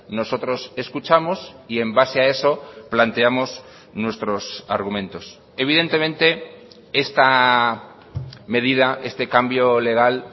nosotros escuchamos y en base a eso planteamos nuestros argumentos evidentemente esta medida este cambio legal